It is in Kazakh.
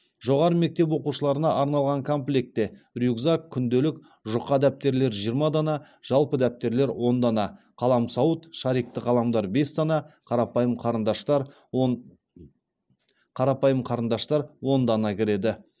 жоғары мектеп оқушыларына арналған комплектте рюкзак күнделік жұқа дәптерлер жиырма дана жалпы дәптерлер он дана қаламсауыт шарикті қаламдар бес дана қарапайым қарындаштар он қарапайым қарындаштар он дана кіреді